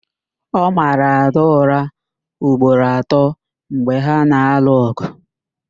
Ọ mara Ada ụra ugboro atọ mgbe ha na-alụ ọgụ